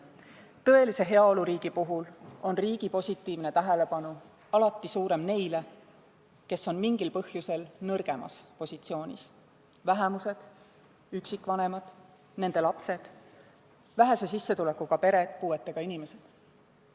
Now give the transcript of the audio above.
Tõelise heaoluriigi puhul on riigi positiivne tähelepanu alati suurem nende puhul, kes on mingil põhjusel nõrgemas positsioonis: vähemused, üksikvanemad, nende lapsed, vähese sissetulekuga pered, puuetega inimesed.